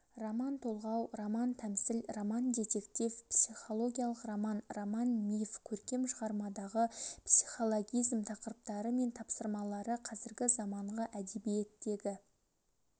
роман-толғау романтәмсіл роман-детектив психологиялық роман роман-миф көркем шығармадағы психологизм тақырыптары мен тапсырмалары қазіргі заманғы әдебиеттегі